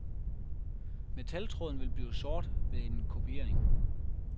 Metaltråden vil blive sort ved en kopiering.